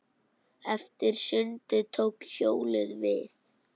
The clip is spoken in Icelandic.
Eftir sundið tók hjólið við.